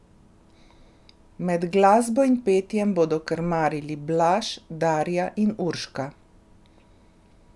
Med glasbo in petjem bodo krmarili Blaž, Darja in Urška.